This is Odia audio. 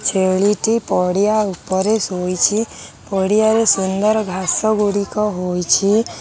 ଛେଳିଟି ପଡ଼ିଆ ଉପରେ ଶୋଇଛି ପଡିଆରେ ସୁନ୍ଦର ଘାସ ଗୁଡ଼ିକ ହୋଇଛି।